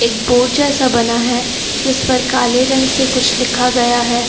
Board जैसा बना है जिस पर काले रंग से कुछ लिखा गया है।